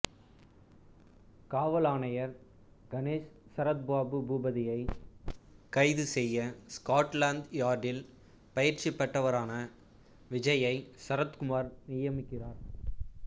காவல் ஆணையர் கணேஷ் சரத் பாபு பூபதியை கைது செய்ய ஸ்காட்லாந்து யார்டில் பயிற்சிபெற்றவரான விஜயை சரத்குமார் நியமிக்கிறார்